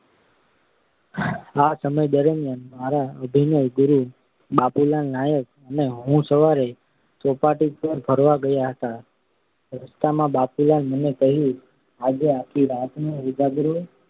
આ સમય દરમિયાન મારા અભિનયગુરુ બાપુલાલ નાયક અને હું સવારે ચોપાટી પર ફરવા ગયા હતા. રસ્તામાં બાપુલાલે મને કહ્યું આજે આખી રાતનો ઉજાગરો